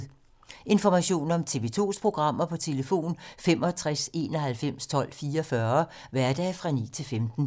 Information om TV 2's programmer: 65 91 12 44, hverdage 9-15.